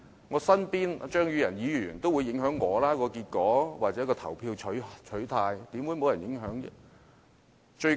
我身邊的張宇人議員亦會影響我的投票取態，試問怎會沒有影響呢？